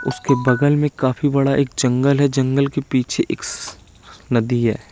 उसके बगल में काफी बड़ा एक जंगल है जंगल के पीछे एक स नदी है।